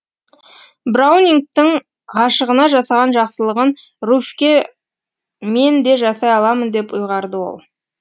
браунингтің ғашығына жасаған жақсылығын руфьке мен де жасай аламын деп ұйғарды ол